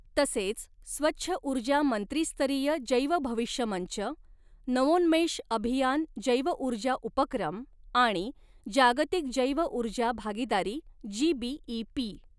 तसेच स्वच्छ ऊर्जा मंत्रीस्तरीय जैव भविष्य मंच, नवोन्मेष अभियान जैवऊर्जा उपक्रम आणि जागतिक जैव ऊर्जा भागीदारी जीबीइपी.